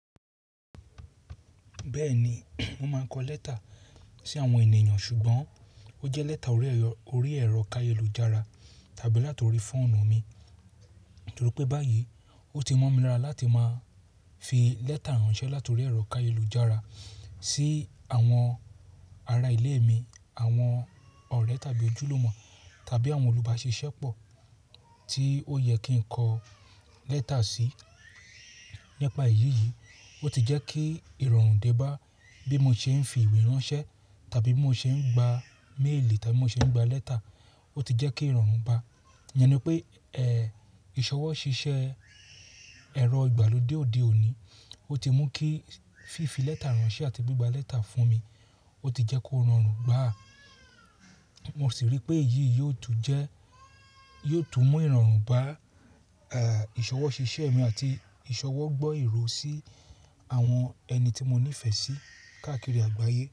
Bẹ́ẹ̀ni, mo máa ń kọ lẹ́tà sí àwọn ènìyàn ṣùgbọ́n ó jẹ́ lẹ́tà orí ẹ̀rọ káye lu jára tàbí láti orí fóònù mi. Torí pé báyìí ó ti mọ́ mi lára láti máa fi lẹ́tà ránṣẹ́ láti orí ẹ̀rọ káye lu jára sí àwọn ará ilé mi, àwọn ọ̀rẹ́ tàbí ojúlùmọ̀ tàbí àwọn olùbáṣe iṣẹ́ pọ̀ tí ó yẹ kí n kọ lẹ́tà sí. Nípa èyí yìí, ó ti jẹ́ kí ìrọ̀rùn dé bá bí mo ṣe ń fi ìwé ránṣẹ́ tàbí bí mo ṣe ń gba méèlì tàbí mo ṣe ń gba lẹ́tà. Ó ti jẹ́ kí ìrọ̀rùn bá. Ìyẹn ni pé, ẹ́, ìṣọwọ́ ṣíṣe ẹ̀rọ ìgbàlódé òde òní, ó ti mú kí fífi lẹ́tà ránṣẹ́ àti gbéga lẹ́tà fún mi, ó ti jẹ́ kó rọrùn gbà á. Mo sì rí pé èyí yi ò tún jẹ́, yi ò tún mú ìrọ̀rùn bá, ẹ́, ìṣọwọ́ ṣíṣe mi àti ìṣọwọ́ gbọ́ ìró sí àwọn ẹni tí mo níìfẹ̀ sí káàkiri àgbáyé.